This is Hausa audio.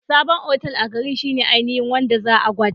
Sabon otal a garin shine ainihin wanda za'a gwada